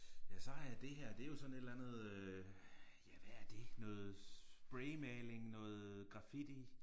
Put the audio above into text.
Ja så har jeg det her det er jo sådan et eller andet øh ja hvad er det noget spraymaling noget graffiti